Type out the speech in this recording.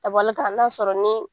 Ka bali k'an lasɔrɔ ni